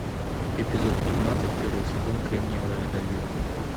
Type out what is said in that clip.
эпизод пятнадцать первый сезон кремниевая долина